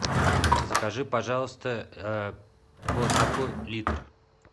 закажи пожалуйста бонакву литр